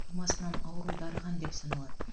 тумасынан ауру дарыған деп саналады